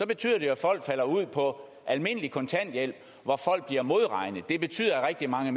betyder det at folk falder ud på almindelig kontanthjælp hvor folk bliver modregnet det betyder at rigtig mange